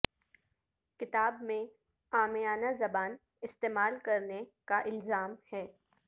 کتاب میں عامیانہ زبان استعمال کرنے کا الزام ہے